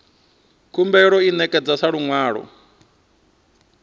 khumbelo i ṋekedzwa sa luṅwalo